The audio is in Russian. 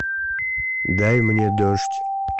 дай мне дождь